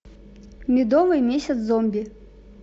медовый месяц зомби